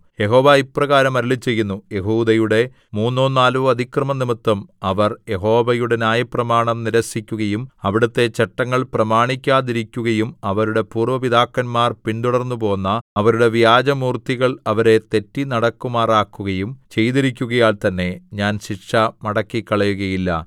യഹോവ ഇപ്രകാരം അരുളിച്ചെയ്യുന്നു യെഹൂദയുടെ മൂന്നോ നാലോ അതിക്രമംനിമിത്തം അവർ യഹോവയുടെ ന്യായപ്രമാണം നിരസിക്കുകയും അവിടുത്തെ ചട്ടങ്ങൾ പ്രമാണിക്കാതെയിരിക്കുകയും അവരുടെ പൂര്‍വ്വ പിതാക്കന്മാർ പിന്തുടർന്നുപോന്ന അവരുടെ വ്യാജമൂർത്തികൾ അവരെ തെറ്റിനടക്കുമാറാക്കുകയും ചെയ്തിരിക്കുകയാൽ തന്നെ ഞാൻ ശിക്ഷ മടക്കിക്കളയുകയില്ല